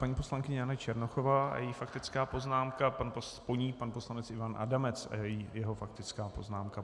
Paní poslankyně Jana Černochová a její faktická poznámka, po ní pan poslanec Ivan Adamec a jeho faktická poznámka.